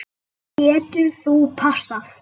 Getur þú passað?